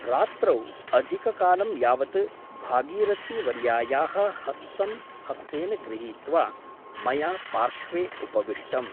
रात्रौ अधिककालं यावत् भागीरथी वर्यायाः हस्तं हस्तेन गृहीत्वा मया पार्श्वे उपविष्टम् ।